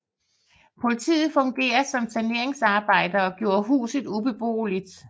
Politiet fungerede som saneringsarbejdere og gjorde huset ubeboeligt